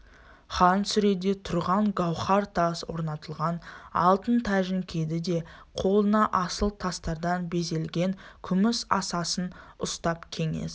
хан сүреде тұрған гауһар тас орнатылған алтын тәжін киді де қолына асыл тастардан безелген күміс асасын ұстап кеңес